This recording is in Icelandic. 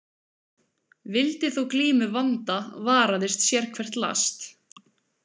Vildi þó glímu vanda varaðist sérhvert last.